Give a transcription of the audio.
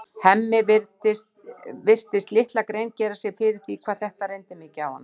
Hemmi virtist litla grein gera sér fyrir því hvað þetta reyndi mikið á hana.